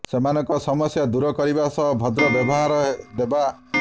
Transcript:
ସେମାନଙ୍କ ସମସ୍ୟା ଦୂର କରିବା ସହ ଭଦ୍ର ବ୍ୟବହାର ଦେବା